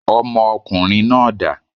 Ọmọ ọkùnrin náà dà?